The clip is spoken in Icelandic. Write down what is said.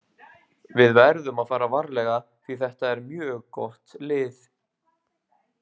Við verðum að fara varlega því þetta er mjög gott lið.